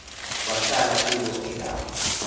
wahlala kulo engavu